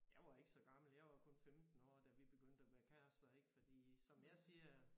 Jeg var ikke så gammel jeg var kun 15 år da vi begyndte at være kærester ik fordi som jeg siger